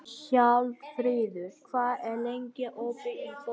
Hjálmfríður, hvað er lengi opið í Bónus?